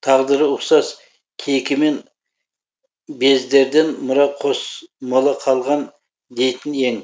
тағдыры ұқсас кейкімен бездерден мұра қос мола қалған дейтін ең